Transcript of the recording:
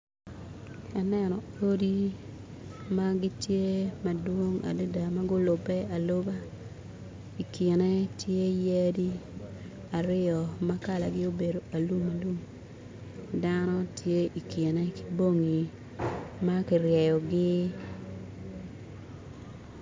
Aneno odi ma gitye madwong adada ma gulube aluba i kine tye yadi aryo ma kalane obedo alum alum dano tye i kine ki bongi ma kiryeyogi